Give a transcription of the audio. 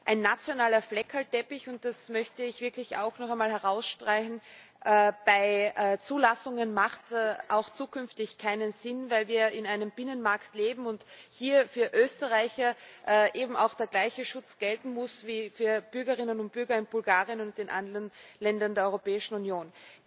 Ein nationaler Flickenteppich das möchte ich wirklich auch noch einmal herausstreichen bei Zulassungen hat auch zukünftig keinen Sinn, weil wir in einem Binnenmarkt leben und hier für Österreicher eben auch der gleiche Schutz gelten muss wie für Bürgerinnen und Bürger in Bulgarien und den anderen Ländern der Europäischen Union.